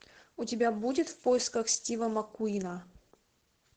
у тебя будет в поисках стива маккуина